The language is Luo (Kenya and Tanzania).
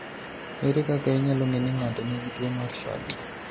Ere kaka inyalo ng'e ni ng'ato nigi tuwo mar SHORT?